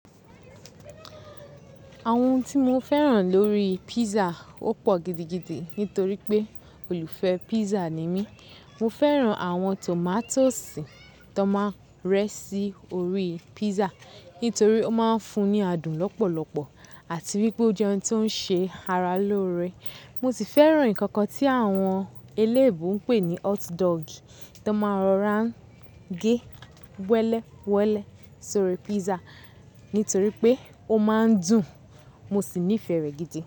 Àwọn ohun tí mo fẹ́ràn lórí pizza ó pọ̀ gidigidi nítorí pé olùfẹ́ pizza ni mí. Mo fẹ́ràn àwọn tòmátósì tó máa rẹ́ sí orí pizza nítorí ó máa ń fún ní adùn lọ́pọ̀lọpọ̀ àti wípé ó jẹ́ ohun tó ń ṣe ara lóore. Mo sì fẹ́ràn ǹkankan tí àwọn eléébo ń pè ní hotdog tó máa rọra ń gé wẹ́lẹ́ wẹ́lẹ́ sórí pizza nítorí pé ó máa ń dùn mo sì nífẹ̀ẹ́ rẹ̀ gidi.